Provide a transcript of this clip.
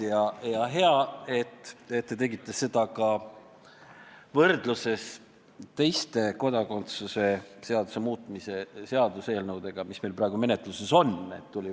Ja hea, et tegite seda ka võrdluses teiste kodakondsuse seaduse muutmise seaduse eelnõudega, mis meil praegu menetluses on.